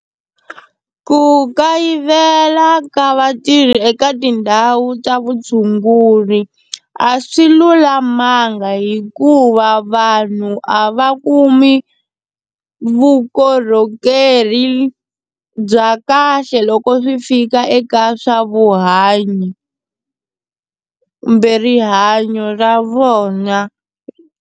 Ku kayivela ka vatirhi eka tindhawu ta vutshunguri a swi lulamanga hikuva vanhu a va kumi vukorhokeri bya kahle loko swi fika eka swa vuhanyo kumbe rihanyo ra vona.